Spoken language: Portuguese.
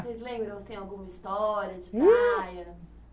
Vocês lembram, assim, alguma história, de praia? Ih